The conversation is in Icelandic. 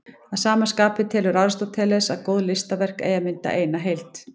Að sama skapi telur Aristóteles að góð listaverk eigi að mynda eina heild.